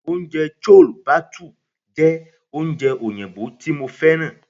Oúnjẹ chole bhature jẹ́ oúnjẹ oyinbo tí mo fẹ́ràn.